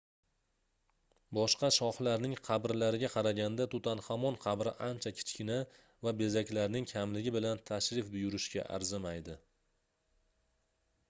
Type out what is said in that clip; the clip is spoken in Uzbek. boshqa shohlarning qabrlariga qaraganda tutanxamon qabri ancha kichkina va bezaklarning kamligi bilan tashrif buyurishga arzimaydi